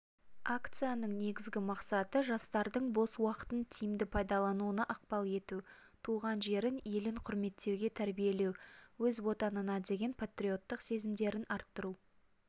акцияның негізгі мақсаты жастардың бос уақытын тиімді пайдалануына ықпал ету туған жерін елін құрметтеуге тәрбиелеу өз отанына деген патриоттық сезімдерін арттыру